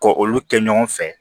Ko olu kɛ ɲɔgɔn fɛ